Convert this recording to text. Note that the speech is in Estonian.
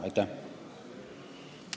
Aitäh!